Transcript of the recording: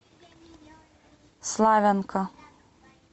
славянка